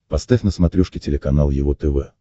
поставь на смотрешке телеканал его тв